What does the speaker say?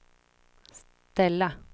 ställa